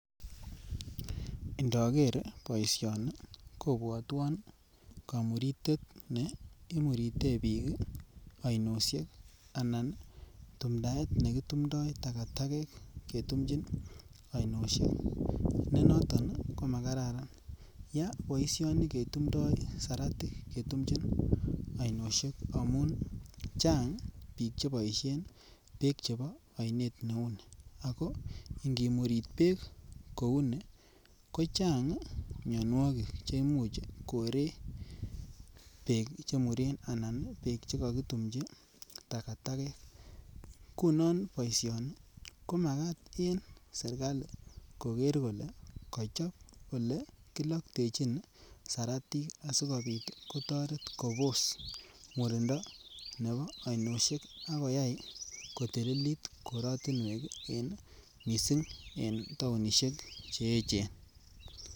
Indoger boisioni kobwotwon komuritet ne imurute biik oinoshek anan tumtaet nekitumdo takatakek ketumchin oinoshek ne noton ko makararan yaa boisioni ketumdo siratik ketumchin oinoshek amun Chang biik che boishen beek chebo oinet neuni ago ngimurit beek kouni kochang mionwokik che imuch koree beek chemuren anan beek che kokitumji takatakek ngunon boisioni ko makat en serkali koger kole kochob ole kiloktechin siratik asikopit kotoret Kobos murindo nebo oinoshek ak koyay kotililit korotinwek en missing en tounishek Cheechen